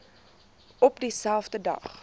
op dieselfde dag